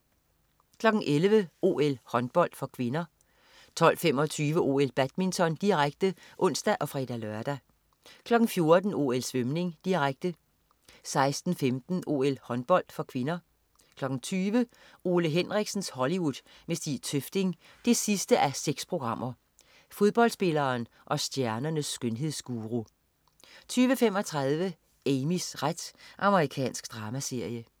11.00 OL: Håndbold (k) 12.25 OL: Badminton, direkte (ons og fre-lør) 14.00 OL: Svømning, direkte 16.15 OL: Håndbold (k) 20.00 Ole Henriksens Hollywood med Stig Tøfting 6:6. Fodboldspilleren og stjernernes skønhedsguru 20.35 Amys ret. Amerikansk dramaserie